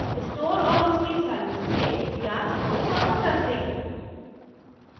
store और उसकी service से या स्टोर प्रमोटर से